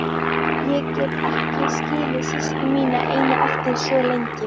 Ég get ekki skilið systur mína eina eftir svo lengi!